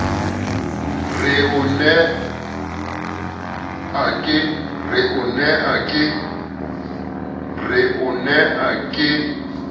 re o ne a ke